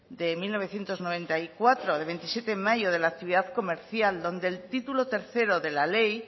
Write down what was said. de mil novecientos noventa y cuatro de veintisiete de mayo de la actividad comercial donde el título tercero de la ley